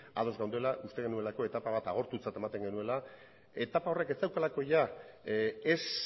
ados geundela uste genuelako etapa bat agortutzat ematen genuela etapa horrek ez zeukalako ia ez